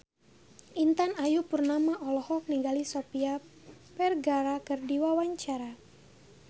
Intan Ayu Purnama olohok ningali Sofia Vergara keur diwawancara